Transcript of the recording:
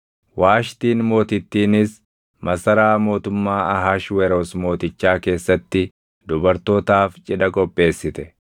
Waashtiin Mootittiinis masaraa mootummaa Ahashweroos Mootichaa keessatti dubartootaaf cidha qopheessite.